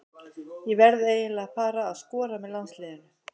Ég verð eiginlega að fara að skora með landsliðinu.